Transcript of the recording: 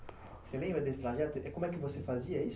Você lembra desse trajeto? E como é que você fazia isso?